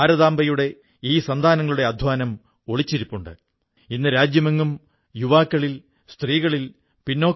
ഇപ്പോൾ ഇതിന്റെ ലോക ചാമ്പ്യൻഷിപ്പ് ആരംഭിച്ചിരിക്കയാണ് അതിൽ പല രാജ്യങ്ങളിൽ നിന്നും ആളുകൾ പങ്കെടുക്കുകയും ചെയ്യുന്നു